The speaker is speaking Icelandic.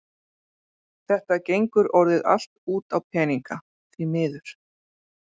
Þetta gengur orðið allt út á peninga, því miður.